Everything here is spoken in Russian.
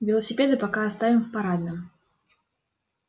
велосипеды пока оставим в парадном